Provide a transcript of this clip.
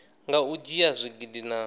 nga u dzhia zwigidi na